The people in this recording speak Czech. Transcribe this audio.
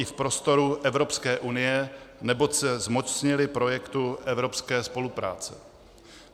I v prostoru Evropské unie, neboť se zmocnili projektu evropské spolupráce.